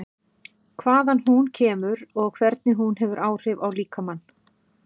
Hvaðan hún kemur og hvernig hún hefur áhrif á líkamann?